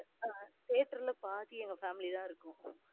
ஆஹ் theater ல பாதியே எங்க family தான் இருக்கும்.